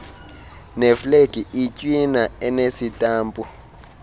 neeflegi itywina enesitampu